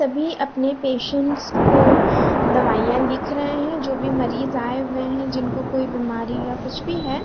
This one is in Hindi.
सभी अपने पेशेंट्स को दवाईया लिख रहे है जो भी मरीज आए हुए है जिनको कोई बीमारी या कुछ भी है।